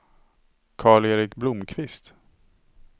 Karl-Erik Blomkvist